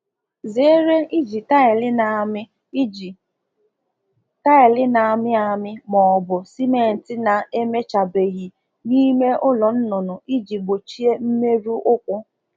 Zere iji um taịlị na-asọ ma ọ bụ ọ bụ simenti a mechaghị n'ime ụlọ zụ anụ ọkụkọ ka e wee gbochie mmerụ ụkwụ.